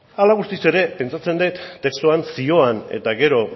hala eta guztiz ere pentsatzen dut testuan zioan eta gero